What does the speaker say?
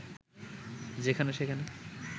যেখানে সেখানে